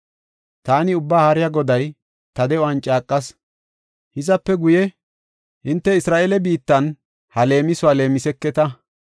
Taani Ubbaa Haariya Goday ta de7uwan caaqas. Hizape guye hinte Isra7eele biittan ha leemisuwa leemiseketa.